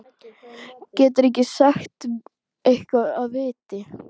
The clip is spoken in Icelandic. Geturðu ekki sagt eitthvað af viti?